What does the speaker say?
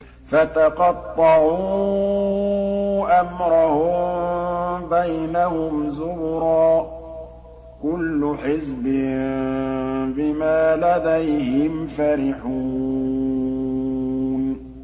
فَتَقَطَّعُوا أَمْرَهُم بَيْنَهُمْ زُبُرًا ۖ كُلُّ حِزْبٍ بِمَا لَدَيْهِمْ فَرِحُونَ